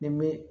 Ni mɛn